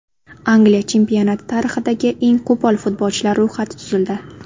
Angliya chempionati tarixidagi eng qo‘pol futbolchilar ro‘yxati tuzildi.